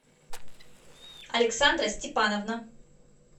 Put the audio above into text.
александра степановна